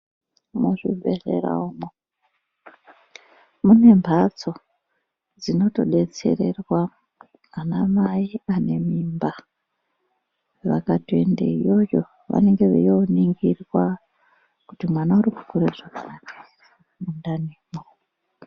Muzvi bhedhlera umwo mune mphatso dzinotodetsererwa ana mai vane mimba, vakatoenda iyoyo vanenge veiyono ningirwa kuti mwana uri kukure zvakanaka ere mundani mwo.